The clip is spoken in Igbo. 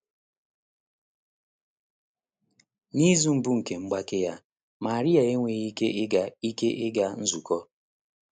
N’izu mbụ nke mgbake ya, Marie enweghị ike ịga ike ịga nzukọ.